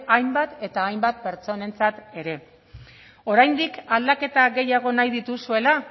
hainbat eta hainbat pertsonentzat ere oraindik aldaketa gehiago nahi dituzuela